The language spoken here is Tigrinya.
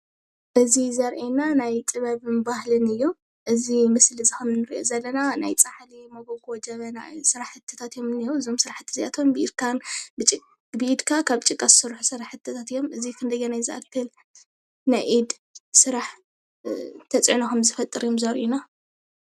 እዚ ዘሪአና ናይ ጥበብን ባህልን እዩ። እዚ ምስሊ እዚ ምስሊ እዚ ከም ንሪኦ ዘለና ናይ ፃሕሊ ሞጎጎ ጀበና ስራሕትታት እዮም ዝንሂዎ እዞም ስራሕታት እዚ ኣቶም ብኢድካ ካብ ጭቃ ዝስርሑ ስራሕትታት እዮም እዚኦም ክንደየናይ ዝኣክል ናይ ኢድ ስራሕ ተፅዕኖ ከምዝፈጥር እዮም ዘርኢና::